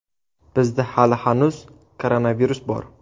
Bizda hali hanuz koronavirus bor.